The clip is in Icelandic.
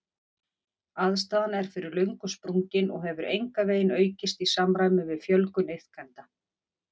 Aðstaðan er fyrir löngu sprungin og hefur engan veginn aukist í samræmi við fjölgun iðkenda.